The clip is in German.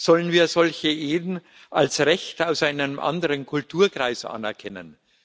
Sollen wir solche Ehen als Recht aus einem anderen Kulturkreis anerkennen?